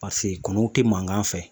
Paseke kɔnɔw tɛ mankan fɛ